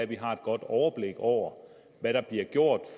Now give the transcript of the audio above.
vi har et godt overblik over hvad der bliver gjort